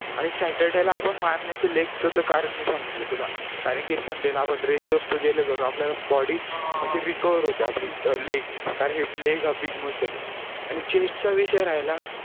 आणि saturday ला आपण मारण्याचं leg च तर कारण मी सांगितलं तुला कारण की sunday ला आपण rest असतो ज्याने करून आपल्याला body recover होते आपली leg कारण की leg हा आपली big muscle आणि chest चा विषय राहिला